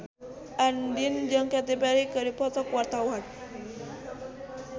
Andien jeung Katy Perry keur dipoto ku wartawan